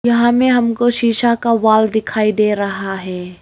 यहां में हमको शीशा का वॉल दिखाई दे रहा है।